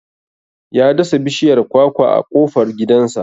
Ya dasa bishiyar kwakwa a kofar gidansa.